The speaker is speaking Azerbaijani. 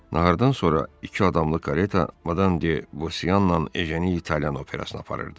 Nahardan sonra iki adamlıq kareta Madam de Bauseanla Ejeni İtalyan operasına aparırdı.